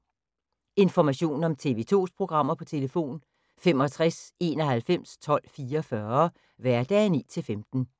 Information om TV 2's programmer: 65 91 12 44, hverdage 9-15.